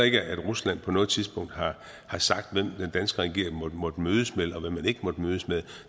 ikke at rusland på noget tidspunkt har sagt hvem den danske regering måtte mødes med og hvem man ikke måtte mødes med